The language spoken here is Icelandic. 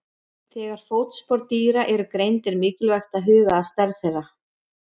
Þegar fótspor dýra eru greind er mikilvægt að huga að stærð þeirra.